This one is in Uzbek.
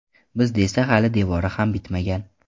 Bizda esa hali devori ham bitmagan.